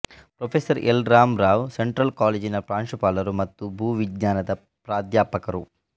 professor L Rama Rao central ಕಾಲೇಜಿನ ಪ್ರಾಂಶುಪಾಲರು ಮತ್ತು ಭೂವಿಜ್ಞಾನದ ಪ್ರಾದ್ಯಪಕರು